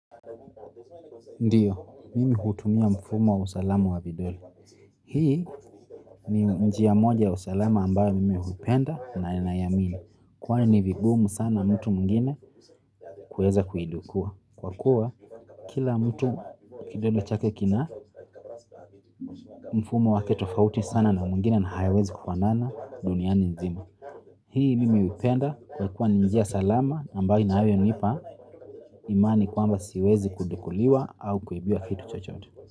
Ndiyo, mimi hutumia mfumo wa usalamu wa vidole. Hii ni njia moja ya usalama ambayo mimi hupenda na naiamini. Kwani ni vigumu sana mtu mwingine kuweza kuidukua. Kwa kuwa kila mtu kidole chake kina mfumo wake tofauti sana na wa mwingine na hayawezi kufanana dunia Mzima. Hii mimi hupenda kwa kuwa ni njia salama ambayo inayonipa imani kwamba siwezi kudukuliwa au kuibiwa vitu chochote.